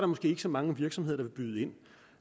måske ikke så mange virksomheder der vil byde ind